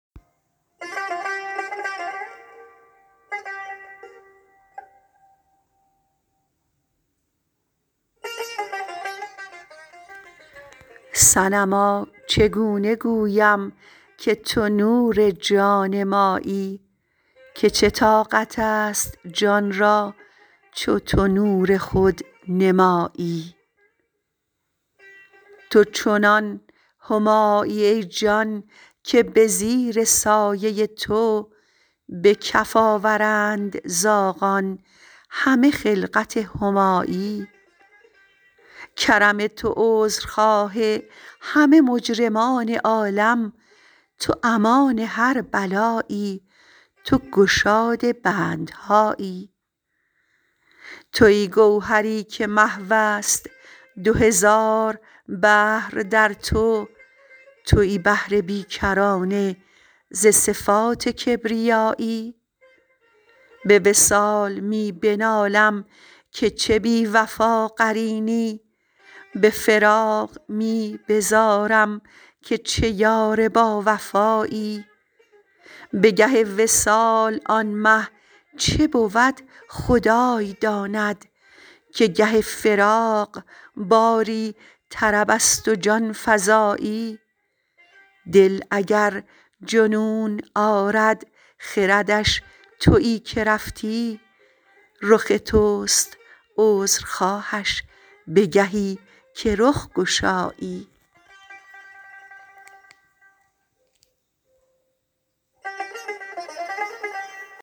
صنما چگونه گویم که تو نور جان مایی که چه طاقت است جان را چو تو نور خود نمایی تو چنان همایی ای جان که به زیر سایه تو به کف آورند زاغان همه خلعت همایی کرم تو عذرخواه همه مجرمان عالم تو امان هر بلایی تو گشاد بندهایی توی گوهری که محو است دو هزار بحر در تو توی بحر بی کرانه ز صفات کبریایی به وصال می بنالم که چه بی وفا قرینی به فراق می بزارم که چه یار باوفایی به گه وصال آن مه چه بود خدای داند که گه فراق باری طرب است و جان فزایی دل اگر جنون آرد خردش تویی که رفتی رخ توست عذرخواهش به گهی که رخ گشایی